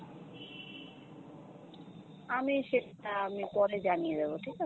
আমি সেটা আমি পরে জানিয়ে দেবো, ঠিক আছে?